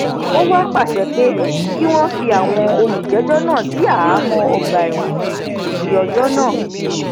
ó wá pàṣẹ pé kí wọn fi àwọn olùjẹjọ náà sí àhámọ ọgbà ẹwọn títí dọjọ náà